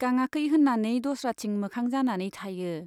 गाङाखै होन्नानै दस्राथिं मोखां जानानै थायो।